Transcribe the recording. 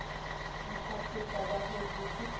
nthasetša ba hwetše ke sa